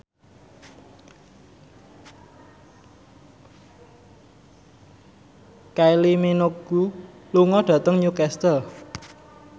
Kylie Minogue lunga dhateng Newcastle